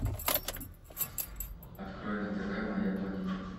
открой на тв моя планета